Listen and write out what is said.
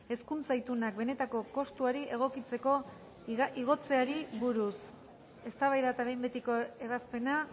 hezkuntza itunak benetako kostuari egokitzeko igotzeari buruz eztabaida eta behin betiko ebazpena